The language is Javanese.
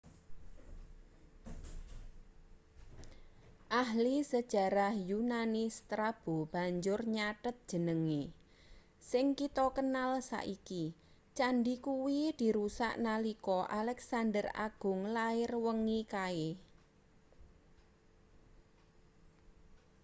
ahli sejarah yunani strabo banjur nyathet jenenge sing kita kenal saiki candhi kuwi dirusak nalika alexander agung lair wengi kae